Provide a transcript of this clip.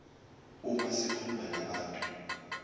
uma zikhuluma nabantu